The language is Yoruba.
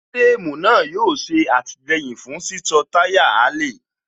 fíréémù náà yóò ṣe àtìlẹyìn fún síso táyà Axle